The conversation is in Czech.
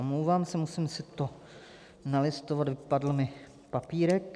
Omlouvám se, musím si to nalistovat, vypadl mi papírek.